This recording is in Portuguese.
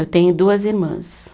Eu tenho duas irmãs.